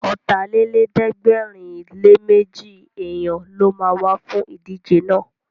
Ọ̀tàlélẹ̀ẹ́dẹ́gbẹ̀rinléméjì èèyàn ló ma wá fún ìdíje náà